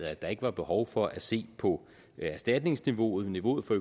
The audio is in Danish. at der ikke er behov for at se på erstatningsniveauet niveauet for